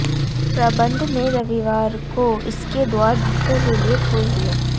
प्रबंधन ने रविवार को इसके द्वार भक्तों के लिये खोल दिये